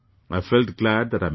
I felt glad that I met them